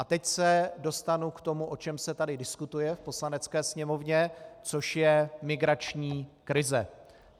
A teď se dostanu k tomu, o čem se tady diskutuje v Poslanecké sněmovně, což je migrační krize.